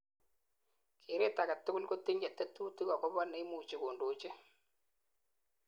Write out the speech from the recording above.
keret agetugul kotinyei tetutik akobo neimuchi kondoji